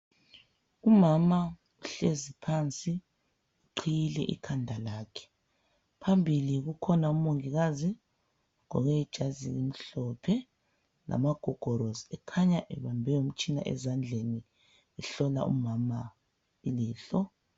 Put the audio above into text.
Umama uhlezi phansi, uqhiyile ikhanda lakhe, phambili kukhona umongikazi, ugqoke ijazi elimhlophe lamagogorosi, ekhanya ebambe umtshina ezandleni ehlola umama ilihlo.